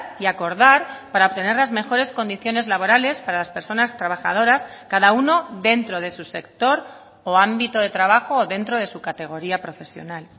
y acordar para obtener las mejores condiciones laborales para las personas trabajadoras cada uno dentro de su sector o ámbito de trabajo o dentro de su categoría profesional